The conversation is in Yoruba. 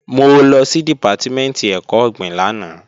Mo lọ sí Dìpátímẹ̀ntì ẹ̀kọ́ ọ̀gbìn lánàá